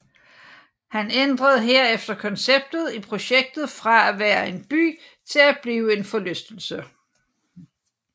Han ændrede herefter konceptet i projektet fra at være en by til at blive en forlystelse